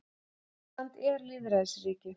Ísland er lýðræðisríki.